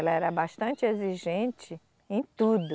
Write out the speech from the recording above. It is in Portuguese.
Ela era bastante exigente em tudo.